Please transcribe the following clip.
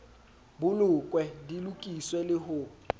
bolokwe di lokiswe le ho